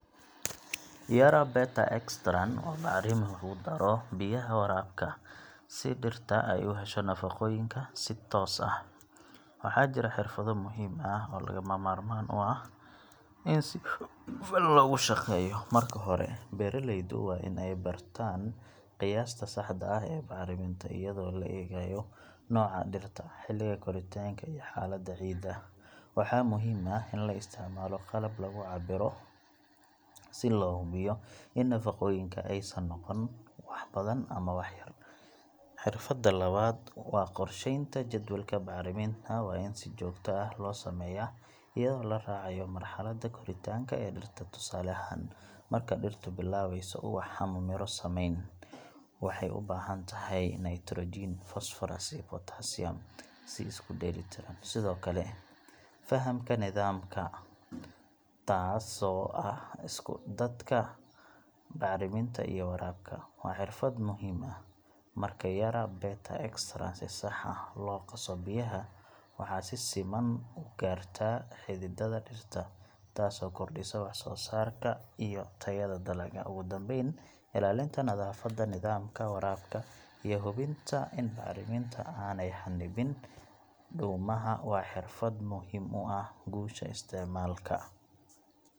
Yara Beta EXTRAN waa bacrimin lagu daro biyaha waraabka si dhirta ay u hesho nafaqooyinka si toos ah. Waxaa jira xirfado muhiim ah oo lagama maarmaan u ah in si hufan loogu shaqeeyo. Marka hore, beeraleydu waa in ay bartaan qiyaasta saxda ah ee bacriminta, iyadoo la eegayo nooca dhirta, xilliga koritaanka iyo xaaladda ciidda. Waxaa muhiim ah in la isticmaalo qalab lagu cabbiro si loo hubiyo in nafaqooyinka aysan noqon wax badan ama wax yar. Xirfadda labaad waa qorsheynta jadwalka bacriminta. Waa in si joogto ah loo sameeyaa, iyadoo la raacayo marxaladda koritaanka ee dhirta. Tusaale ahaan, marka dhirtu bilaabayso ubax ama midho samayn, waxay u baahan tahay nitrogen, phosphorus iyo potassium si isku dheelitiran. Sidoo kale, fahamka nidaamka taasoo ah isku darka bacriminta iyo waraabka – waa xirfad muhiim ah. Marka Yara Beta EXTRAN si sax ah loogu qaso biyaha, waxaa si siman u gaartaa xididada dhirta, taasoo kordhisa wax-soo-saarka iyo tayada dalagga. Ugu dambayn, ilaalinta nadaafadda nidaamka waraabka iyo hubinta in bacriminta aanay xannibin dhuumaha waa xirfad muhiim u ah guusha isticmaalka.